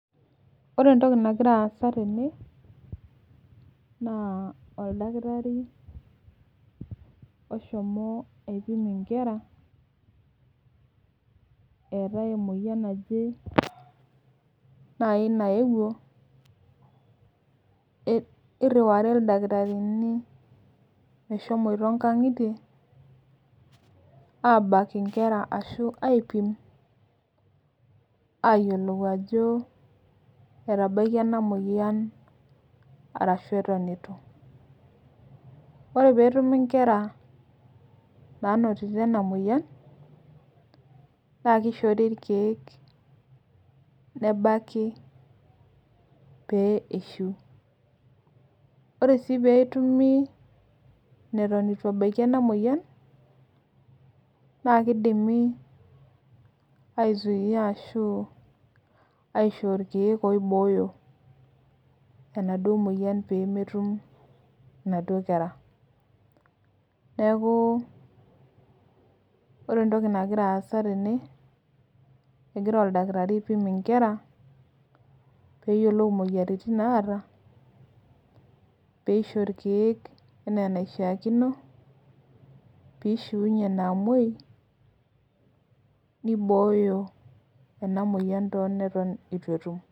Ore entoki nagira aasa tene, naa oldakitari oshomo aipimo inkera, eetae emoyian naje, naai nayewuo. niriwari ildakitarini meshomoito nkang'itie aabak nkera. ashu aipimo aayiolou ajo, etabaikia ena moyiaan. arashu Eton eitu. ore peetumi nkera naanotito ena moyian naa kishori irkeek, nebaiki pee eishiu ore sii pee etumu neton eitu ebaiki ena moyian naa kidimi aisuima ashu, aishoo ilkeek oibooyo enaduo moyian, pee metum inaduoo kera. neeku ore ntoki nagira aasa tene. egira oldakitari, aipimo nkera peeyiolou moyiaritin naata. peeisho irkeek anaa enaishaakino. peeishiunye inaamuoi. neiboyo ena moyian teeneitu etum.